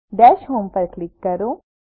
દશ હોમ ઉપર ક્લિક કરો